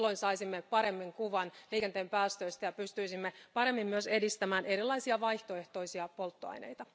Silloin saisimme paremman kuvan liikenteen päästöistä ja pystyisimme paremmin myös edistämään erilaisia vaihtoehtoisia polttoaineita.